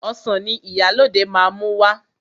Ọsàn ni Ìyálóde máa mú wá.